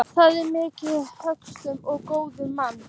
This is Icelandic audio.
Það er mikill löstur á góðum manni.